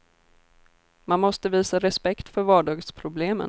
Man måste visa respekt för vardagsproblemen.